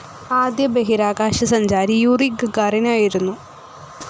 ആദ്യ ബഹിരാകാശസഞ്ചാരി Yuri Gagarin ആയിരുന്നു.